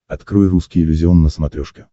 открой русский иллюзион на смотрешке